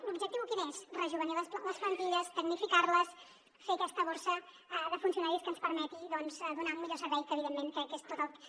l’objectiu quin és rejovenir les plantilles tecnificar les fer aquesta borsa de funcionaris que ens permeti doncs donar un millor servei que evidentment crec que és tot el que